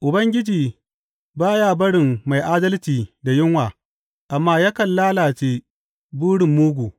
Ubangiji ba ya barin mai adalci da yunwa amma yakan lalace burin mugu.